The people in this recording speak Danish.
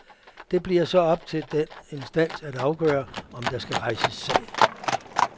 Det bliver så op til den instans at afgøre, om der skal rejses sag.